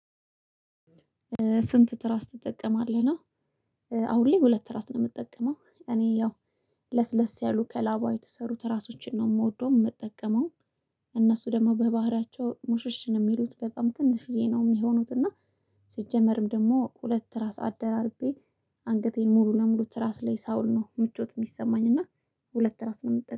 ስንት ትራስ ትጠቀማለህ? ነው። አሁን ላይ ሁለት ትራስ ነው የምጠቀመው፤ እኔ ያው ለስለስ ያሉ ከላባ የተሰሩ ትራሶችን ነው የምወደው የምጠቀመው። እነሱ ደግሞ በባህሪያቸው ሙሽሽ ነው የሚሉት በጣም ትንሽዬ ነው የሚሆኑት፤ እና ሲጀመርም ደግሞ ሁለት ራስ አደራርቤ አንገቴን ሙሉ ለሙሉ ትራስ ላይ ሳውል ነው ምቾት የሚሰማኝ እና ሁለት ትራስ ነው የምጠቀመው።